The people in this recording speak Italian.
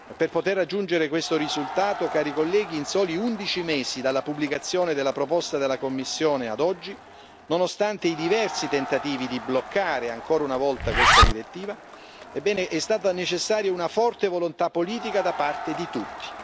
Per poter raggiungere questo risultato, cari colleghi, in soli undici mesi dalla pubblicazione della proposta della Commissione ad oggi, nonostante i diversi tentativi di bloccare ancora una volta questa direttiva, è stata necessaria una forte volontà politica da parte di tutti.